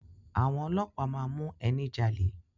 Àwọn ọlọ́pàá máa mú ẹni jalè.